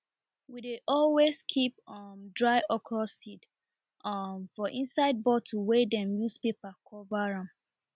we dey always keep um dry okra seed um for inside bottle wey dem use paper cover am